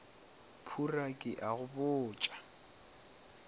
phura ke a go botša